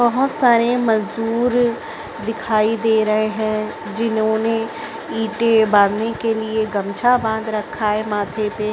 बहुत सारे मजदुर दिखाई दे रहे हैं जिन्होंने ईंटे बांधने के लिए गमछा बाधा रखा हैं माथे पे --